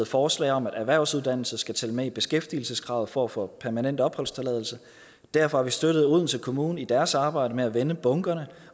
forslag om at erhvervsuddannelse skal tælle med i beskæftigelseskravet for få permanent opholdstilladelse derfor har vi støttet odense kommune i deres arbejde med at vende bunkerne